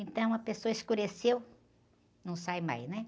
Então, a pessoa, escureceu, não sai mais, né?